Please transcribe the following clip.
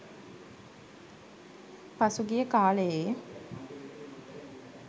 පසු ගිය කාලයේ